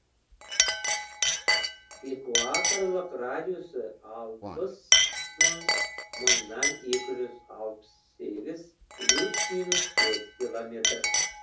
екуаторлық радиусы алпыс мың мыңнан екі жүз алпыс сегіз плюс минус төрт километр